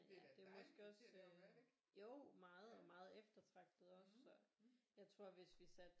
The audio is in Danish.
Det er måske også jo meget meget eftertragtet også så jeg tror hvis vi satte